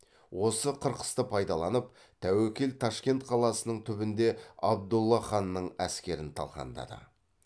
осы қырқысты пайдаланып тәуекел ташкент қаласының түбінде абдолла ханның әскерін талқандады